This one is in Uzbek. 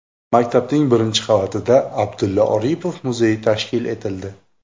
Maktabning birinchi qavatida Abdulla Oripov muzeyi tashkil etildi.